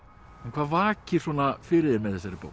hvað vakir fyrir þér með þessari bók